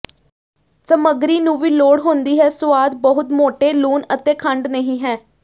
ਸਮੱਗਰੀ ਨੂੰ ਵੀ ਲੋੜ ਹੁੰਦੀ ਹੈ ਸੁਆਦ ਬਹੁਤ ਮੋਟੇ ਲੂਣ ਅਤੇ ਖੰਡ ਨਹੀ ਹੈ